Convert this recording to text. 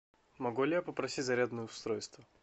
могу ли я попросить зарядное устройство